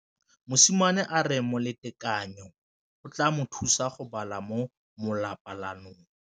Mosimane a re molatekanyô o tla mo thusa go bala mo molapalong.